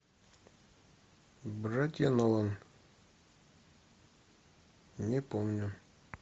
братья нолан не помню